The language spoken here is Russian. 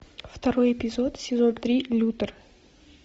второй эпизод сезон три лютер